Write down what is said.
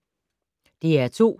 DR2